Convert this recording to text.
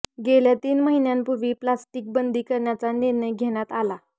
गेल्या तीन महिन्यांपूर्वी प्लास्टिक बंदी करण्याचा निर्णय घेण्यात आला